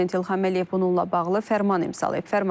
Prezident İlham Əliyev bununla bağlı fərman imzalayıb.